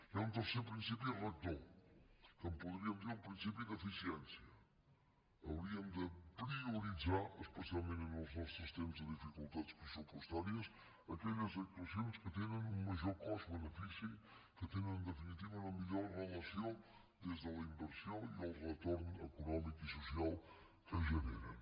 hi ha un tercer principi rector que en podríem dir el principi d’eficiència hauríem de prioritzar especialment en els nostres temps de dificultats pressupostàries aquelles actuacions que tenen un major cost benefici que tenen en definitiva una millor relació des de la inversió i el retorn econòmic i social que generen